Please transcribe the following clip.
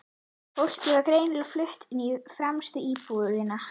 Fólkið var greinilega flutt inn í fremstu íbúðina.